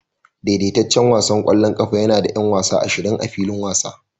Daidaitaccen wasan ƙwallon ƙafa yana da 'yan wasa ashirin a filin wasa